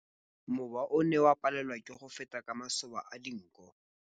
Mowa o ne o palelwa ke go feta ka masoba a dinko.